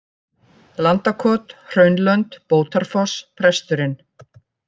Landakot, Hraunlönd, Bótarfoss, Presturinn